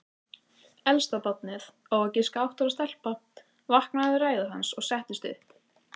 Elsta barnið, á að giska átta ára telpa, vaknaði við ræðu hans og settist upp.